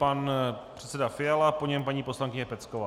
Pan předseda Fiala, po něm paní poslankyně Pecková.